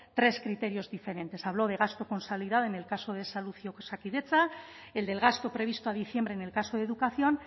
tres criterios diferentes habló de gasto consolidado en el caso de salud y osakidetza el del gasto previsto a diciembre en el caso de educación